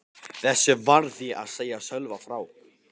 Þessu varð ég að segja Sölva frá.